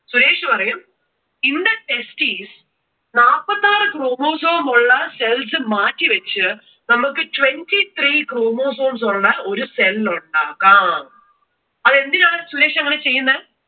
സുരേഷ് പറയും in the testis നാല്പത്തി ആറു chromosome ഉള്ള cells മാറ്റിവെച്ചു നമുക്ക് twenty three chromosomes ഉള്ള ഒരു cell ഉണ്ടാക്കാം. അതെന്തിനാണ് സുരേഷ് അങ്ങനെ ചെയ്യുന്നേ?